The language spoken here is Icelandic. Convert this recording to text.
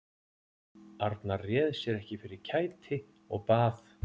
Arnar réð sér ekki fyrir kæti og bað